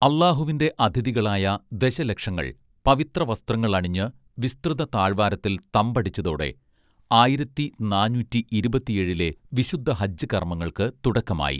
അല്ലാഹുവിന്റെ അതിഥികളായ ദശലക്ഷങ്ങൾ പവിത്ര വസ്ത്രങ്ങൾ അണിഞ്ഞ് വിസ്തൃത താഴ്‌വാരത്തിൽ തമ്പടിച്ചതോടെ ആയിരത്തിനാനൂറ്റി ഇരുപത്തിയേഴിലെ വിശുദ്ധ ഹജ്ജ് കർമ്മങ്ങൾക്ക് തുടക്കമായി